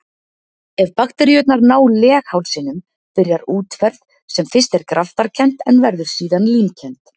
Ef bakteríurnar ná leghálsinum byrjar útferð sem fyrst er graftarkennd en verður síðan límkennd.